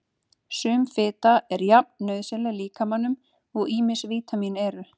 Sum fita er jafn nauðsynleg líkamanum og ýmis vítamín eru.